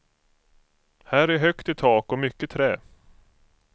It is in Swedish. Här är högt i tak och mycket trä.